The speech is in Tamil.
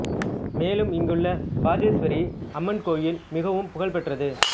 மேலும் இங்குள்ள பத்தேஷ்வரி அம்மன் கோயில் மிகவும் புகழ் பெற்றது